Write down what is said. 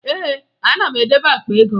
Ee, ana m edebe akpa ego m